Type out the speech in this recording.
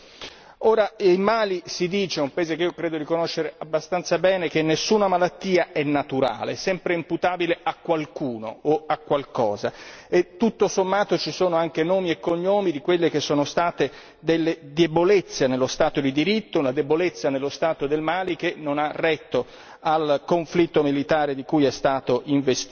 Ora il Mali, si dice, un paese, che io credo di conoscere abbastanza bene, che nessuna malattia è naturale, è sempre imputabile a qualcuno o a qualcosa e tutto sommato ci sono anche nomi e cognomi di quelle che sono state delle debolezze nello stato di diritto, una debolezza nello stato del Mali che non ha retto al conflitto militare di cui è stato investito.